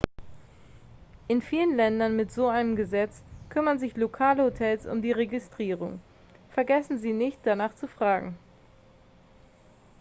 in vielen ländern mit so einem gesetz kümmern sich lokale hotels um die registrierung vergessen sie nicht danach zu fragen